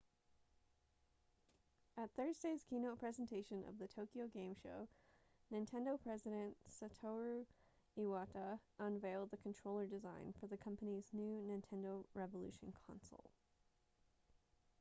at thursday's keynote presentation of the tokyo game show nintendo president satoru iwata unveiled the controller design for the company's new nintendo revolution console